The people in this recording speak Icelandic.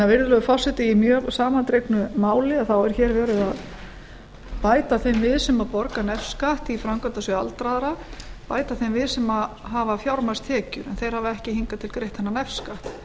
virðulegur forseti í mjög samandregnu máli er hér verið að bæta þeim við sem borga nefskatt í framkvæmdasjóð aldraðra bæta þeim við sem hafa fjármagnstekjur en þeir hafa ekki hingað til greitt þennan nefskatt